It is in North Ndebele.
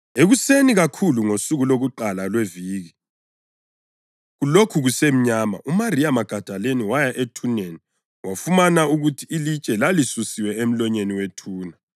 Ekuseni kakhulu ngosuku lokuqala lweviki, kulokhu kusemnyama, uMariya Magadalini waya ethuneni wafumana ukuthi ilitshe laselisusiwe emlonyeni wethuna.